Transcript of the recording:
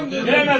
Girəməsin!